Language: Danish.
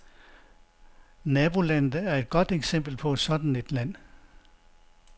Nabolandet er et godt eksempel på sådan et land.